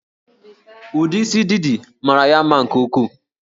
Ụdị isi Didi mara ya mma nke ukwuu